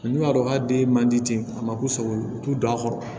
n'u y'a dɔn k'a den man di ten a ma k'u sago ye u t'u don a kɔrɔ